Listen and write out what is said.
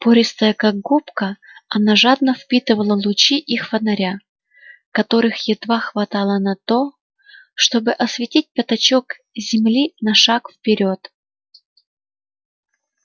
пористая как губка она жадно впитывала лучи их фонаря которых едва хватало на то чтобы осветить пятачок земли на шаг вперёд